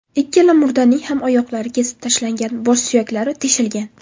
Ikkala murdaning ham oyoqlari kesib tashlangan, bosh suyaklari teshilgan.